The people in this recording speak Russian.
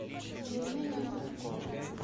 евгения зубко